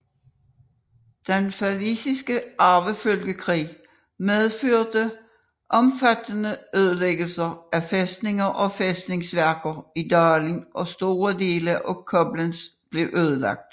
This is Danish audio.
Den Pfalziske Arvefølgekrig medførte omfattende ødelæggelser af fæstninger og fæstningsværker i dalen og store deler af Koblenz blev ødelagt